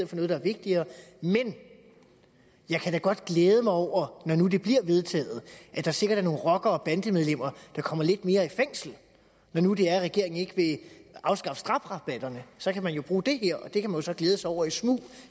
for noget der er vigtigere men jeg kan da godt glæde mig over når nu det bliver vedtaget at der sikkert er nogle rockere og bandemedlemmerne der kommer lidt mere i fængsel når nu det er at regeringen ikke vil afskaffe strafrabatterne så kan man jo bruge det her og det kan man så glæde sig over i smug